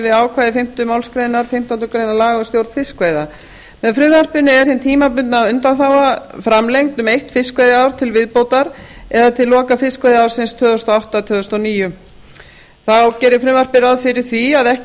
við ákvæði fimmtu málsgrein fimmtándu grein laga um stjórn fiskveiða með frumvarpinu er hin tímabundna undanþága framlengd um eitt fiskveiðiár til viðbótar eða til loka fiskveiðiársins tvö þúsund og átta tvö þúsund og níu þá gerir frumvarpið ráð fyrir að ekki